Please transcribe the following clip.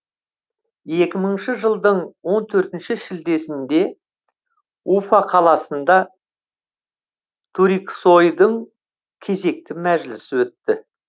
екі мыңыншы жылдың он төртінші шілдесінде уфа қаласында туриксойдың кезекті мәжілісі өтті